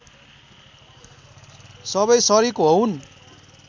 सबै सरिक होऊन्